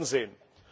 Wir werden sehen.